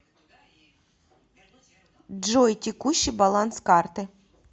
джой текущий баланс карты